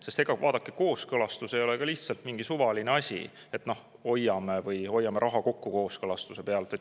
Sest vaadake, ega kooskõlastus ei ole lihtsalt mingi suvaline asi, et hoiame raha kokku kooskõlastuse pealt.